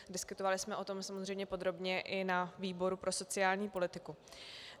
Diskutovali jsme o tom samozřejmě podrobně i na výboru pro sociální politiku.